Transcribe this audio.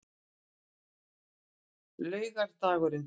laugardagurinn